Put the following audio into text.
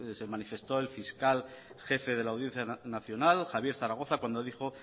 se manifestó el fiscal jefe de la audiencia nacional javier zaragoza cuando dijo